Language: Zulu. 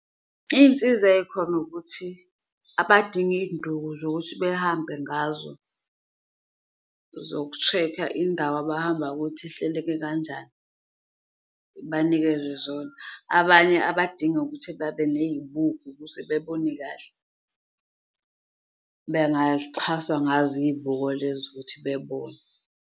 Iyinsiza eyikhona ukuthi abadingi iyinduku zokuthi behambe ngazo zokusheka indawo abahamba ukuthi ihleleke kanjani, banikezwe zona, abanye abadinga ukuthi babe neyibuko ukuze bebone kahle bengaxhaswa ngazo iyibuko lezo ukuthi bebone.